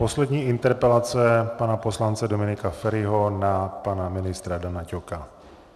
Poslední interpelace pana poslance Dominika Feriho na pana ministra Dana Ťoka.